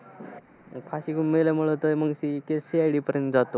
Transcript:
ते फाशी घेऊन मेल्यामुळे तर मग ती case CID पर्यंत जातो.